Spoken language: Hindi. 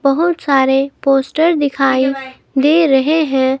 बहुत सारे पोस्टर दिखाई दे रहे हैं।